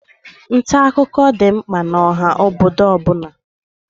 Nta akụkọ dị mkpa n'oha obodo ọbụna.